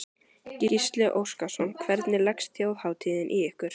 Gísli Óskarsson: Hvernig leggst Þjóðhátíðin í ykkur?